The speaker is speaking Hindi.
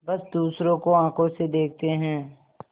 बस दूसरों को आँखों से देखते हैं